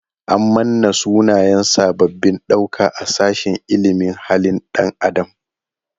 An manna sunayen sabbabin ɗauka a sashin ilimin halin ɗan adam.